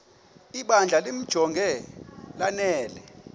ibandla limjonge lanele